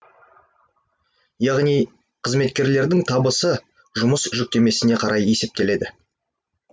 яғни қызметкерлердің табысы жұмыс жүктемесіне қарай есептеледі